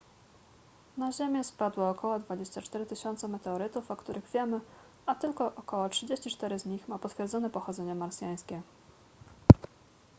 na ziemię spadło około 24 000 meteorytów o których wiemy a tylko około 34 z nich ma potwierdzone pochodzenie marsjańskie